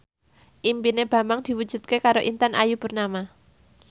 impine Bambang diwujudke karo Intan Ayu Purnama